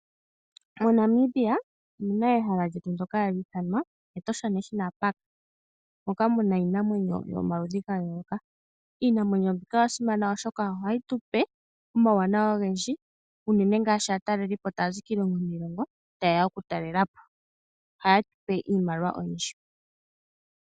Moshilongo shetu Namibia otunamo ehala lyokwedhilila iinamwenyo ayihe yomokuti ndyoka hatu li ithana Etosha, metosha omuna iinamwenyo oyindji yayolokathana ndjono hayi nana aataleli yeye moshilongo shetu. Aataleli ngele yeya moshilongo shetu yeya okutala iinamwenyo yometosha ohaafutu iimaliwa ndjoka hayi yambulapo uuyamba nosho woo uuhupilo woshilongo shetu.